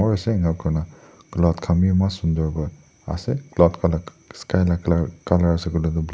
ase enkakurina cloud khan bi eman sunder kurina ase cloud kan sky la colour asekoilae tu--